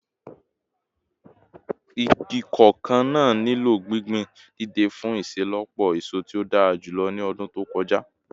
Igi koko naa nilo gbingbin deede fun iṣelọpọ eso ti o dara julọ ni ọdun to kọja